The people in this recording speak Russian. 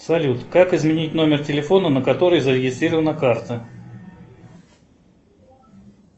салют как изменить номер телефона на который зарегистрирована карта